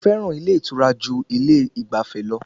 Sé o fẹ́ràn ilé ìtura ju ilé ìgbafẹ́ lọ?